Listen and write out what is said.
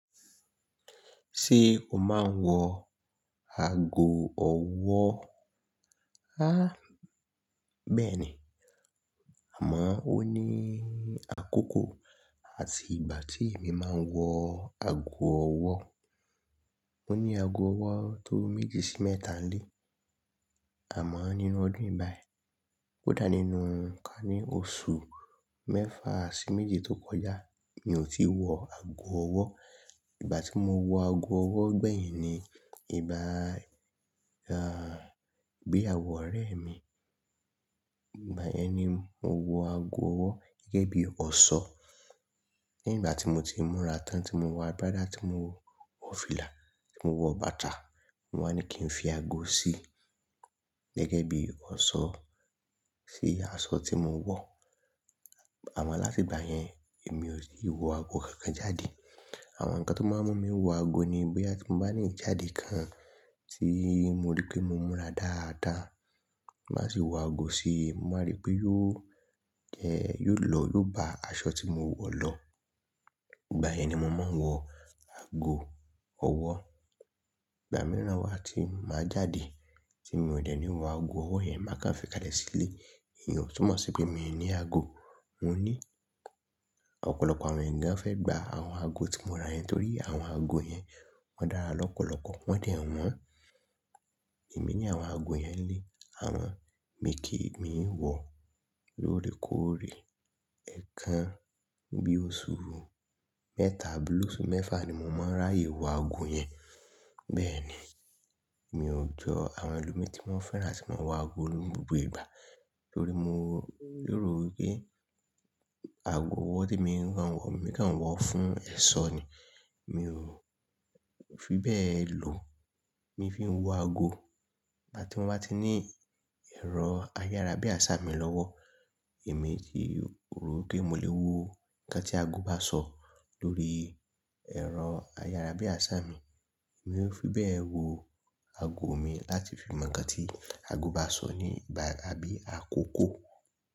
Ṣé o máa ń wọ aago ọwọ́? Há! Bẹ́ẹ̀ ni. Àmọ́ ó ní àkókò àti ìgbà tí èmi máa ń wọ aago ọwọ́. Mo ní ago ọwọ́ tó méjì sí mẹ́ta nílé. Àmọ́ nínú ọdún yi bayi, kódà nínú ká ní oṣù mẹ́fà sí méjì tó kọjá mi ò tí wọ aago ọwọ́. Ìgbà tí mo wọ aago ọwọ́ gbẹ̀yìn ni, ìgbà ga, bí àwọn ọ̀rẹ́ mi. Ìgbà yẹn ni mo wọ aago ọwọ́ gẹ́gẹ́ bí ọ̀ṣọ́. Ní ìgbà tí mo ti múra tán, tí mo wọ agbádá, tí mo wọ fìlà, tí mo wọ bàtà, mo wá ní kí n fi aago sí i gẹ́gẹ́ bí ọ̀ṣọ́, sí aṣọ tí mo ń wọ̀. Àmọ́ láti ìgbà yẹn, èmi ò tí wọ ago kankan jáde. Àwọn nǹkan tó máa ń mú mi wọ ago ni bóyá tí n bá ní ìjáde kan tí mo rí pé mo múra dáadáa, màá sì wọ aago sí i, mo máa rí pé yóò jẹ́, yóò lọ, yóò bá aṣọ tí mo ń wọ̀ lọ. Ìgbà yẹn ni mo máa ń wọ ago ọwọ́. Ìgbà mìíràn wá tí màá jáde tí mi ò dẹ̀ ní wọ aago ọwọ́ yẹn, màá kan fikàlẹ̀ sílé. Èèyàn tó mọ̀ sí pé mi ò ní aago. Mo ní ọ̀pọ̀lọpọ̀ àwọn ènìyàn fẹ́ gba àwọn aago tí mo ra yẹn torí àwọn aago yẹn, wọ́n dára lọ́pọ̀lọpọ̀, wọ́n dẹ̀ wọ́n. Èmi ní àwọn ago yẹn ni lé àmọ́, mi kì í mi i wọ̀ lóòrèkóòrè. Ẹ̀ẹ̀kan bí i oṣù mẹ́ta, oṣù mẹ́fà ni mo máa ń ráyè wọ ago yẹn. Bẹ́ẹ̀ ni, mi ò jọ àwọn ẹlòmíràn tí wọ́n fẹ́ràn àti máa wọ aago ní gbogbo ìgbà torí mo rò wí pé aago ọwọ́ tí mo ń wọ̀, èmi kan ń wọ̀ fún ẹ̀ṣọ́ ni. Mi ò fi bẹ́ẹ̀ lò. Mi fi ń wọ aago. Ìgbà tí mo bá ti ní ẹ̀rọ ayára bí àṣá mi lọ́wọ́, èmi ti rò wí pé mo lè wo nǹkan tí aago bá sọ lórí ẹ̀rọ ayára bí àṣá mi. Èmi ò fi bẹ́ẹ̀ wo aago mi láti fi mọ nǹkan tí aago bá sọ ní ìgbà àbí àkókò.